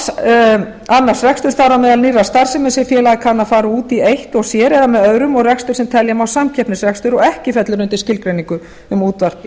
þar á meðal nýrrar starfsemi sem félagið kann að fara út í eitt og sér eða með öðrum og rekstur sem telja má samkeppnisrekstur og ekki fellur undir skilgreiningu um útvarp